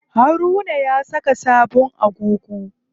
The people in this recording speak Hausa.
Haruna ya saka sabon agogo.